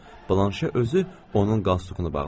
Blanşe özü onun qalstukunu bağladı.